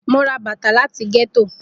Mo ra bata lati getto.